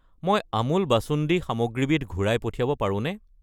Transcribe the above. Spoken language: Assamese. মই আমুল বাসুন্দি সামগ্ৰীবিধ ঘূৰাই পঠিয়াব পাৰোঁনে?